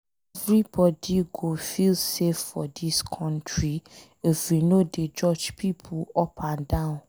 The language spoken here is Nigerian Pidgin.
Everybody go feel safe for dis country if we no dey judge pipo up and down.